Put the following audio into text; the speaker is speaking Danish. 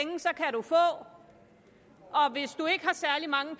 at og hvis du ikke har særlig mange